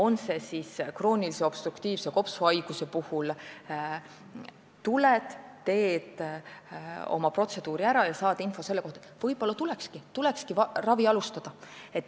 Näiteks krooniline obstruktiivne kopsuhaigus: tuled ja teed oma protseduuri ära ja saad info ning võib-olla tulekski ravi alustada.